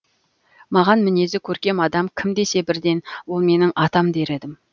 маған мінезі көркем адам кім десе бірден ол менің атам дер едім